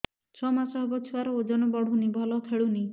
ଛଅ ମାସ ହବ ଛୁଆର ଓଜନ ବଢୁନି ଭଲ ଖେଳୁନି